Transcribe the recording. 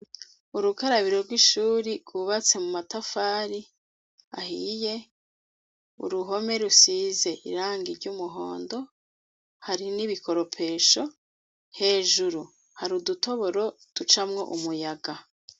Urukarabiro rw'ishuri rwubatse mu matafari ahiye, uruhome rusize irangi ry'umuhondo hari n'ibikoropesho, hejuru hari udutoboro ducamwo umuyaga.